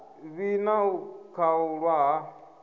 vhi na u khaulwa ha